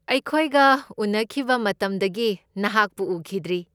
ꯑꯩꯈꯣꯏꯒ ꯎꯅꯈꯤꯕ ꯃꯇꯝꯗꯒꯤ ꯅꯍꯥꯛꯄꯨ ꯎꯈꯤꯗ꯭ꯔꯤ꯫